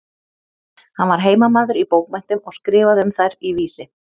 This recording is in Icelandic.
Hann var heimamaður í bókmenntum og skrifaði um þær í Vísi.